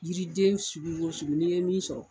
Yiriden sugu o sugu n'i ye min sɔrɔ.